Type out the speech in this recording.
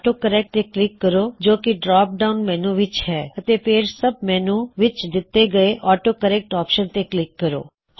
auto correct ਤੇ click ਕਰੋ ਜੋ ਕੀ ਡਰੌਪ ਡਾਉਨ ਮੈੱਨਯੂ ਵਿੱਚ ਹੈ ਅਤੇ ਫੇਰ ਸੱਬ ਮੈੱਨਯੂ ਵਿੱਚ ਦਿੱਤੇ ਹੋਏ ਆਟੋ ਕਰੇਕ੍ਟ ਆਪਸ਼ਨਸ ਤੇ ਕਲਿੱਕ ਕਰੋ